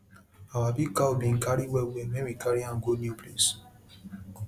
the the way you go build animal um house suppose make their food and water easy for dem make dem fit see am chop